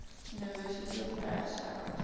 university of paris faculty